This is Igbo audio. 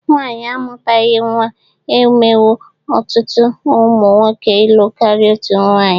Nwaanyị amụtaghị nwa emewo ọtụtụ ụmụ nwoke ilu karịa otu nwaanyị